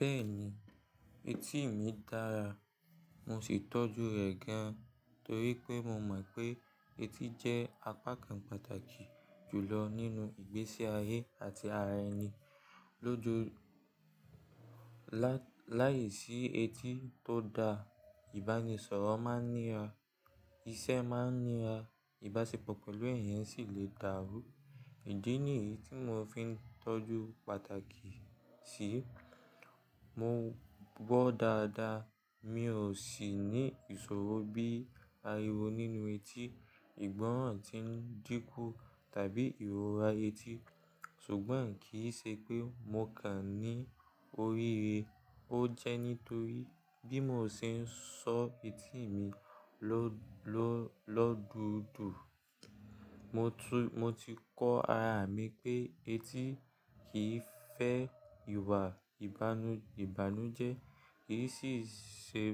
Bẹ́ẹ̀ni, etí mi dára, mo sì ń tọ́jú rẹ̀ gan torí pé mo mọ̀ pé etí jẹ́ apá kan pàtàkì jù lọ nínú ìgbésí ayé àti ara ẹni. Lójo-- láìsí etí tó da, ìbánisọ̀rọ̀ máa ń nira, iṣẹ́ máa ń nira, ìbáṣepọ̀ pẹ̀lú èèyàn sì lè dàrú. Ìdí nìyí tí mò ń fi tọ́jú pàtàkì sí i. Mo gbọ́ dáadáa, mi ò sì ní ìṣòro bíi ariwo nínú etí, ìgbọ́ràn tí ń dínkù tàbí ìrora etí. Ṣùgbọ́n kì í ṣe pé mo kàn ní oríire. Ó jẹ́ nítorí bí mo ṣe ń sọ etí mi lọ́dùú dùú. Mo ti kọ ara mi pé etí kì í fẹ́ ìwà ìbànújẹ́, kì í sì ṣe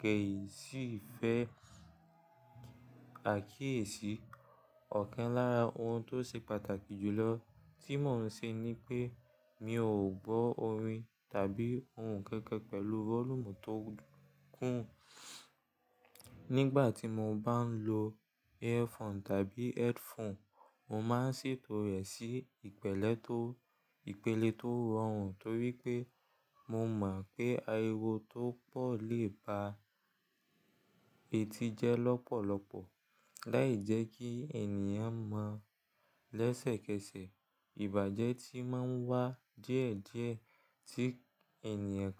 kẹ̀ ì sì fẹ́ àkíyèsí. Ọ̀kan lára ohun tó ṣe pàtàkì jù lọ tí mò ń ṣe ni pé mi ò gbọ́ orin tàbí ohùn kankan pẹ̀lú vọ́lúùmù tó kùn. Nígbà tí mo bá ń lo earphone tàbí headphone, mo máa ń ṣètò rẹ̀ sí ìpélé tó rọrùn torí pé mo mọ̀ pé ariwo tó pọ̀ lè ba eti jẹ́ lọ́pọ̀lọpọ̀. Láì jẹ́ kí èèyàn mọ̀ lẹ́sẹ̀kẹsẹ̀, ìbàjẹ́ tí máa ń wá díẹ̀díẹ̀ tí èèyàn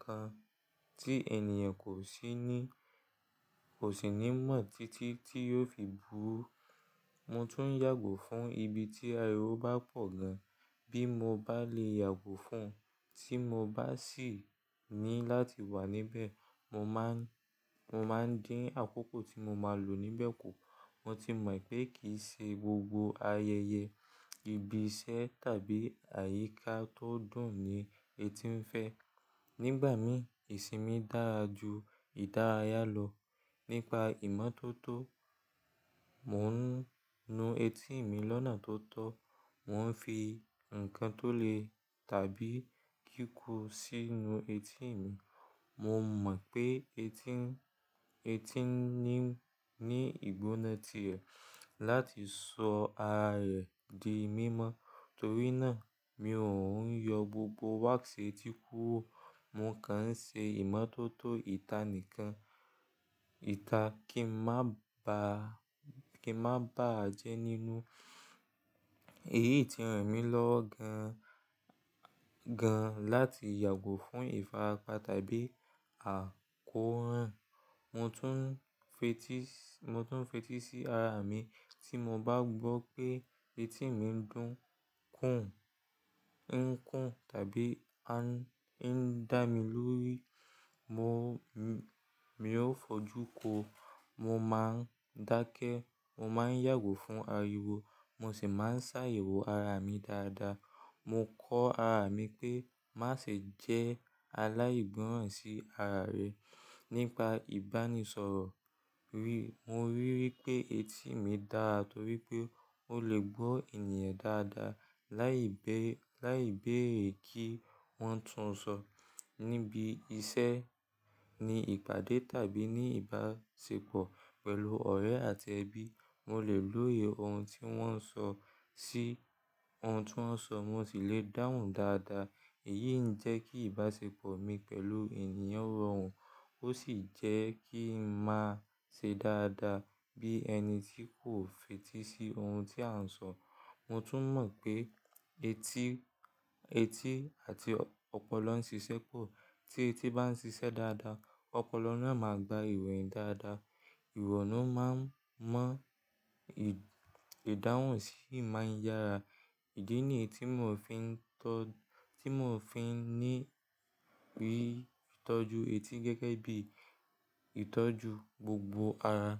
kò sì ní mọ̀ títí tí yóò fi bú. Mo tún yàgò fún ibi tí ariwo bá pọ̀ gan, bí mo bá lè yàgò fún, tí mo bá sì ní láti wà níbẹ̀, mo máa ń dín àkókò tí mo máa lò níbẹ̀ kù. Mo ti mọ̀ pé kì í ṣe gbogbo ayẹyẹ, ibi iṣẹ́ tàbí àyíká tó dùn ni etí ń fẹ́. Nígbà mí, ìsinmi dára ju ìdárayá lọ. Nípa ìmọ́tótó, mò ń nu etí mi lọ́nà tó tọ́, mò ń fi ǹkan tó le tàbí kí kú sínu etí mi. Mo mọ̀ pé etí ní ìgbóná ti rẹ̀ láti sọ ara rẹ̀ di mímọ́. Torí náà mi ò ń yọ gbogbo wax etí kúrò, mo kàn ń ṣe ìmọ́tótó ìta nìkan. Ìta kí ń má bà á jẹ́ nínú. Èyí ti ràn mí lọ́ gan láti yàgò fún ìfarapa tàbí àkóràn. Mo tún ń fetí sí ara mi. Tí mo bá gbọ́ pé etí mi ń dùn, ń kùn tàbí ń dá mi lórí, mi ò fojú ko. Mo máa ń dákẹ́, mo máa ń yàgò fún ariwo, mo sì máa ń ṣàyẹ̀wò ara mi dáadáa. Mo kọ́ ara mi pé má ṣe jẹ́ aláìgbọ́ràn sí ara rẹ. Nípa ìbánisọ̀rọ̀ rí, mo ríi pé etí mi dára torí pé ó lè gbọ́ èèyàn dáadáa láìbéèrè kí wọ́n tún sọ. Níbi iṣẹ́, ní ìpàdé tàbí ní ìbáṣepọ̀ pẹ̀lú ọ̀rẹ́ àti ẹbí, mo lè lójú ohun tí wọ́n ń sọ, sì ohun tí wọ́n ń sọ, mo sì lè dáhùn dáadáa. Èyí ń jẹ́ kí ìbáṣepọ̀ mi pẹ̀lú èèyàn rọrùn, ó sì jẹ́ kí ń máa ṣe dáadáa bí ẹni tí kò fetí sí ohun tí a ń sọ. Mo tún mọ̀ pé etí àti ọpọlọ ń ṣiṣẹ́ pọ̀. Tí etí bá ń ṣiṣẹ́ dáadáa, ọpọlọ náà máa gba ìwèé dáadáa. Ìwọ̀nù máa ń mọ̀, ìdáhùn sì máa ń yára. Ìdí nìyí tí mò ń fi ní rí ìtọ́jú etí gẹ́gẹ́ bí ìtọ́jú gbogbo ara.